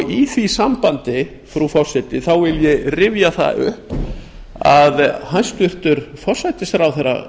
í því sambandi frú forseti vil ég rifja það upp að hæstvirtur forsætisráðherra